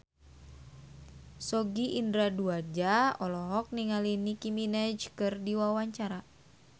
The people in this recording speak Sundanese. Sogi Indra Duaja olohok ningali Nicky Minaj keur diwawancara